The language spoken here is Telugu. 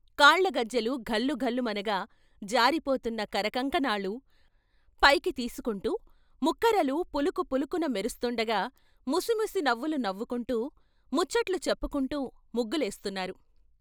కాళ్ళగజ్జెలు ఘల్లుఘల్లు మనగా జారిపోతున్న కరకంకణాలు పైకి తీసుకుంటూ ముక్కరలు పులుకు పులుకున మెరుస్తుండగా, ముసి ముసి నవ్వులు నవ్వుకుంటూ, ముచ్చట్లు చెప్పుకుంటూ ముగ్గులేస్తున్నారు.